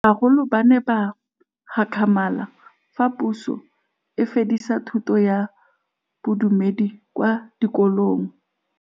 Bagolo ba ne ba gakgamala fa Pusô e fedisa thutô ya Bodumedi kwa dikolong.